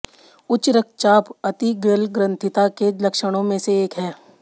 उच्च रक्तचाप अतिगलग्रंथिता के लक्षणों में से एक है